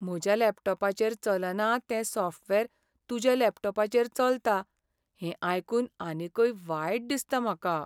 म्हज्या लॅपटॉपाचेर चलना तें सॉफ्टवेअर तुज्या लॅपटॉपाचेर चलता हें आयकून आनीकय वायट दिसता म्हाका.